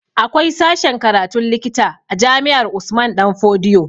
Akwai sashen karatun likita a jami'ar Usman danfodiyo